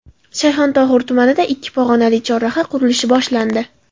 Shayxontohur tumanida ikki pog‘onali chorraha qurilishi boshlandi .